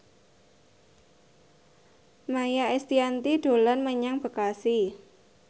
Maia Estianty dolan menyang Bekasi